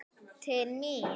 Til mín?